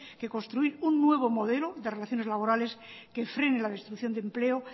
que construir un nuevo modelo de relaciones laborales que frene la destrucción de empleo